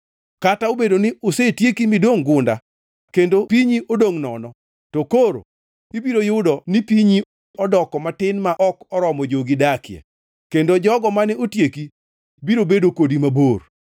“Kata obedo ni osetieki midongʼ gunda kendo pinyi odongʼ nono, to koro ibiro yudo ni pinyi odoko matin ma ok oromo jogi dakie, kendo jogo mane otieki biro bedo kodi mabor.